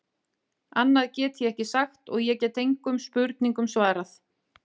Annað get ég ekki sagt og ég get engum spurningum svarað.